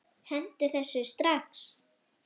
Hentu þessu strax!